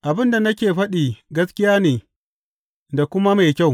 Abin da nake faɗi gaskiya ne da kuma mai kyau.